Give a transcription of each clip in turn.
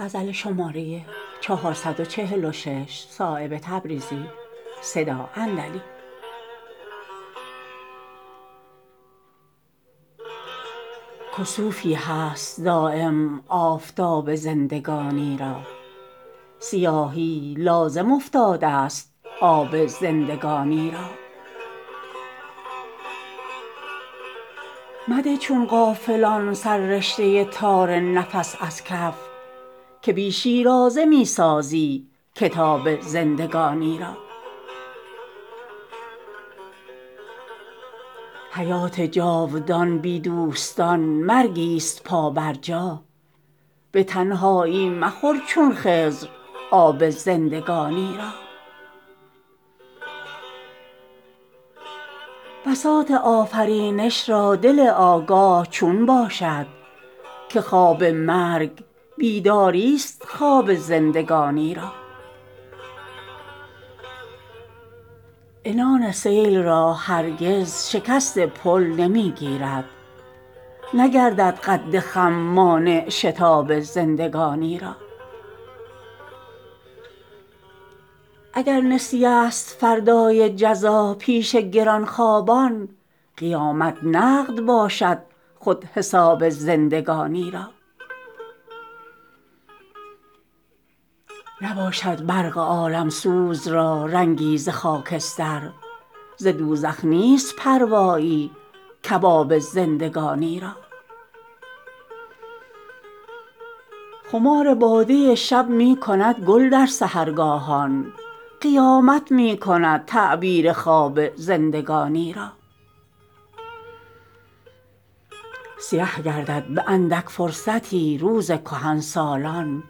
کسوفی هست دایم آفتاب زندگانی را سیاهی لازم افتاده است آب زندگانی را مده چون غافلان سر رشته تار نفس از کف که بی شیرازه می سازی کتاب زندگانی را حیات جاودان بی دوستان مرگی است پا بر جا به تنهایی مخور چون خضر آب زندگانی را بساط آفرینش را دل آگاه چون باشد که خواب مرگ بیداری است خواب زندگانی را عنان سیل را هرگز شکست پل نمی گیرد نگردد قد خم مانع شتاب زندگانی را اگر نسیه است فردای جزا پیش گرانخوابان قیامت نقد باشد خود حساب زندگانی را نباشد برق عالمسوز را رنگی ز خاکستر ز دوزخ نیست پروایی کباب زندگانی را خمار باده شب می کند گل در سحرگاهان قیامت می کند تعبیر خواب زندگانی را سیه گردد به اندک فرصتی روز کهنسالان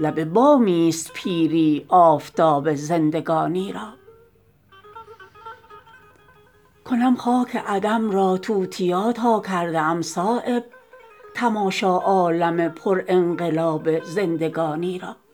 لب بامی است پیری آفتاب زندگانی را کنم خاک عدم را توتیا تا کرده ام صایب تماشا عالم پر انقلاب زندگانی را